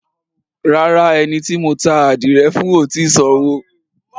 Rárá, ẹni tí mo ta ádìrẹ fún ò tì í sanwó.